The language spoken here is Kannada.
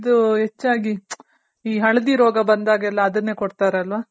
ಇದು ಹೆಚ್ಚಾಗಿ ಈ ಹಳದಿ ರೋಗ ಬಂದಾಗೆಲ್ಲ ಅದುನ್ನೆ ಕೊಡ್ತಾರಲ್ವ